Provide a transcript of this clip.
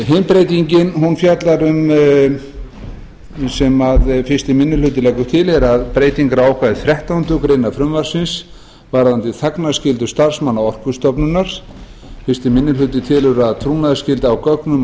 hin breytingin sem fyrsti minni hluti leggur til eru breytingar á ákvæði þrettándu greinar frumvarpsins varðandi þagnarskyldu starfsmanna orkustofnunar fyrsti minni hluti telur að trúnaðarskylda á gögnum